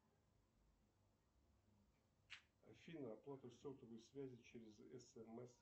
афина оплату сотовой связи через смс